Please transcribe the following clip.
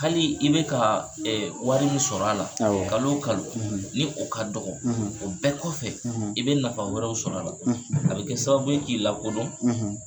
Hali i bɛ ka wari min sɔr'a la, awɔ, kalo kalo, , ni o ka dɔgɔ, , o bɛɛ kɔfɛ, , i bɛ nafa wɛrɛw sɔrɔ a la ,, a bɛ kɛ sababu ye k'i lakodɔn,